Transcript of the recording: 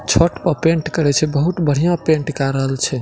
छत पे पेंट करे छै बहुत बढ़िया पेंट काय रहल छै।